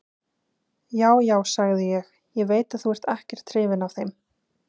Já, já, sagði ég, ég veit að þú ert ekkert hrifinn af þeim.